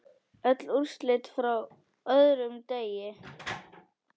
Öll úrslit frá öðrum degi